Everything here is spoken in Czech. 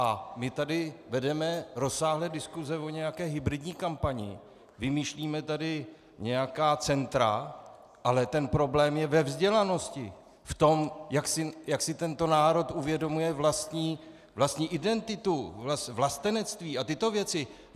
A my tady vedeme rozsáhlé diskuse o nějaké hybridní kampani, vymýšlíme tady nějaká centra, ale ten problém je ve vzdělanosti, v tom, jak si tento národ uvědomuje vlastní identitu, vlastenectví a tyto věci.